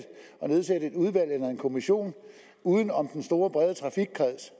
kommission uden om den store brede trafikkreds